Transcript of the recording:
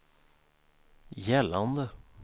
gällande